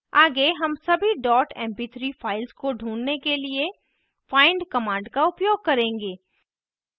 आगे हम सभी dot mp3 files को ढूँढने के लिए find command का उपयोग करेंगे